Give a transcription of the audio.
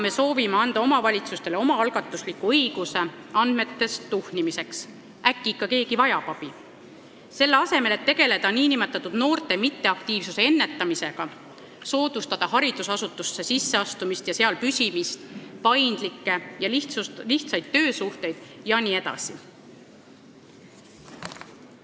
Me soovime praegu anda omavalitsustele õiguse omaalgatuslikuks andmetes tuhnimiseks – äkki keegi vajab abi –, selle asemel et tegeleda nn noorte mitteaktiivsuse ennetamisega, soodustada mõnda kooli sisseastumist ja seal püsimist, arendada paindlikke ja lihtsaid töösuhteid jne.